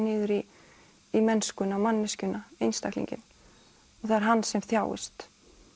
niður í mennskuna og manneskjuna einstaklinginn og það er hann sem þjáist